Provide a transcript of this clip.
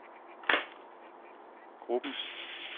gruppens